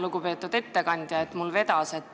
Lugupeetud ettekandja!